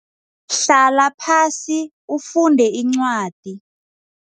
Hlala phasi ufunde incwadi.